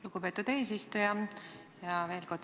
Lugupeetud eesistuja!